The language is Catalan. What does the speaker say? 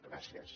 gràcies